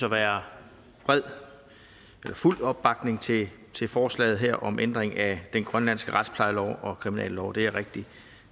at være fuld opbakning til til forslaget her om ændring af den grønlandske retsplejelov og kriminallov det er jeg rigtig